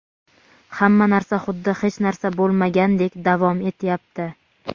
hamma narsa xuddi hech narsa bo‘lmagandek [davom etyapti].